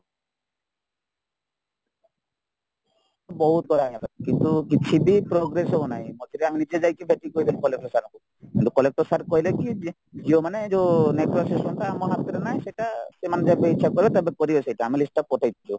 ବହୁତ କରାହେଇଗଲା କିନ୍ତୁ କିଛିବି progress ହଉନାହିଁମଝିରେ ଆମେ ନିଜେଯାଇକି ଦେଖିକି କହିଥିଲୁ collector sir ଙ୍କୁ କିନ୍ତୁ collector sir କହିଲେକି ଯେଉଁମାନେ ଯୋଉ network system ଟା ଆମ ହାତରେ ନାହିଁ ସେଟା ସେମାନେ ଯେବେ ଇଛା କରିବେ ତେବେ କରିବେ ସେଟା ଆମେ list ପଠେଇଛୁ